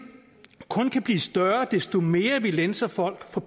kun kan blive større desto mere vi lænser folk for